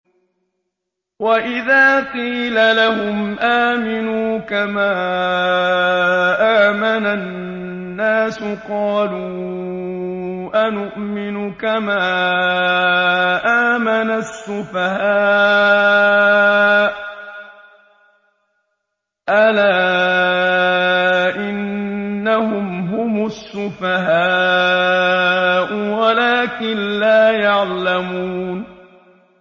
وَإِذَا قِيلَ لَهُمْ آمِنُوا كَمَا آمَنَ النَّاسُ قَالُوا أَنُؤْمِنُ كَمَا آمَنَ السُّفَهَاءُ ۗ أَلَا إِنَّهُمْ هُمُ السُّفَهَاءُ وَلَٰكِن لَّا يَعْلَمُونَ